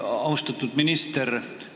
Austatud minister!